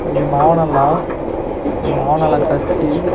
இது மனநல மனநல சர்ச்சு .